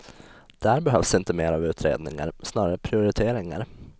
Där behövs inte mer av utredningar, snarare prioriteringar.